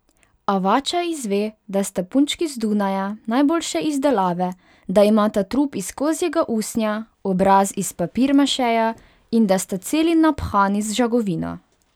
Avača izve, da sta punčki z Dunaja, najboljše izdelave, da imata trup iz kozjega usnja, obraz iz papirmašeja in da sta celi naphani z žagovino.